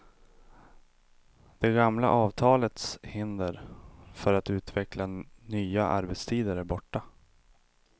Det gamla avtalets hinder för att utveckla nya arbetstider är borta.